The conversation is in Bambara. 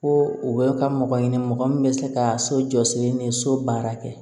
Ko u bɛ ka mɔgɔ ɲini mɔgɔ min bɛ se ka so jɔsilen ni so baara kɛ